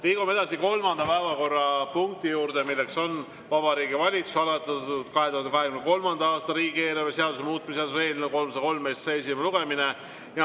Liigume edasi kolmanda päevakorrapunkti juurde, milleks on Vabariigi Valitsuse algatatud 2023. aasta riigieelarve seaduse muutmise seaduse eelnõu 303 esimene lugemine.